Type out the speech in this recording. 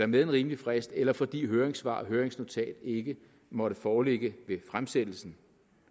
med en rimelig frist eller fordi høringssvar og høringsnotat ikke måtte foreligge ved fremsættelsen